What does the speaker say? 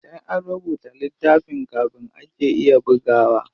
Sai an rubuta littafin kafin ake iya bugawa.